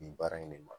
Nin baara in ne ma